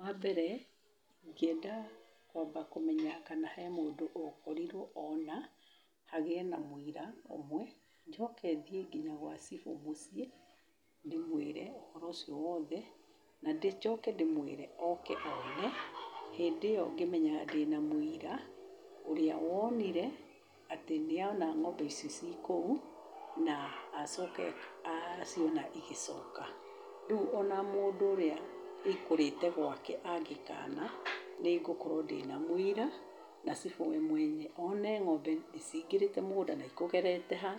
Wa mbere, ingĩenda kwamba kũmenya kana hena mũndũ ũkorirwo ona, hagĩe na mũira ũmwe, njoke thiĩ nginya gwa cibũ mũciĩ, ndĩmwĩre ũhoro ũcio wothe, na njoke ndĩmwĩre oke one, hĩndĩ ĩyo gĩmenyaga ndĩna mwĩra, ũrĩa wonire atĩ nĩona ng'ombe icio ciĩ kũu, acoka aciona cigĩcoka, rĩu ona mũndũ ũrĩa ikũrĩte gwake angĩkana ,nĩngũkorwo ndĩna mũira ,na cibũ we mwenye one ng'ombe nĩcigĩrĩte mugũnda na ikũgerete ha,